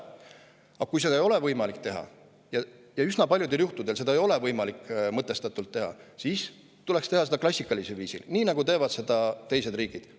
Aga kui seda ei ole võimalik teha – üsna paljudel juhtudel seda ei ole võimalik mõtestatult teha –, siis tuleks teha seda klassikalisel viisil, nii nagu teevad teised riigid.